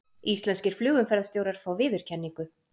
Íslenskir flugumferðarstjórar fá viðurkenningu